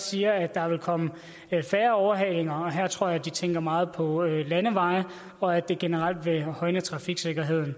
siger at der vil komme færre overhalinger her tror jeg de tænker meget på landeveje og at det generelt vil højne trafiksikkerheden